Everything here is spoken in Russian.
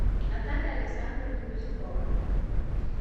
наталья александровна бизюкова